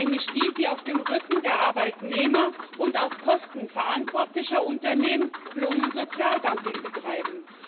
Nämlich die, die auf dem Rücken der Arbeitnehmer und auf Kosten verantwortlicher Unternehmen Lohn und Sozialdumping betreiben.